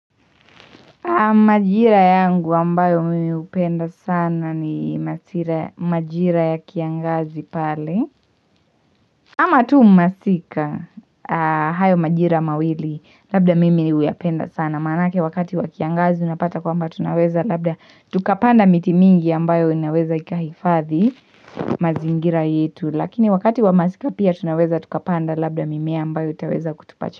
Majira yangu ambayo mimi hupenda sana ni majira ya kiangazi pale ama tu masika. Hayo majira mawili labda mimi huyapenda sana, maanake wakati wa kiangazi unapata kwamba tunaweza labda tukapanda miti mingi ambayo inaweza ikahifadhi mazingira yetu. Lakini wakati wa masika pia tunaweza tukapanda labda mimea ambayo itaweza kutupa.